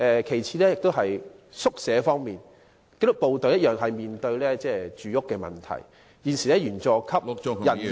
其次，在宿舍方面，紀律部隊亦面對住屋問題，現時員佐級人員......